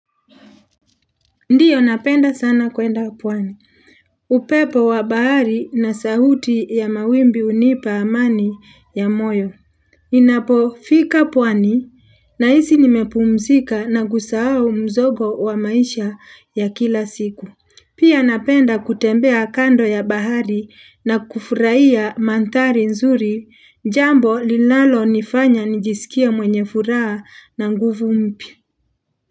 Ndiyo napenda sana kuenda pwani. Upepo wa bahari na sauti ya mawimbi hunipa amani ya moyo. Ninapofika pwani nahisi nimepumzika na kusahau mzogo wa maisha ya kila siku. Pia napenda kutembea kando ya bahari na kufurahia mandhari nzuri jambo linalo nifanya nijisikie mwenye furaha na nguvu mpya.